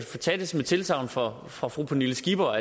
tage det som et tilsagn fra fra fru pernille skipper